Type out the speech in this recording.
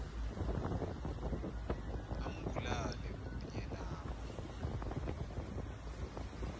ambulale kunye nabo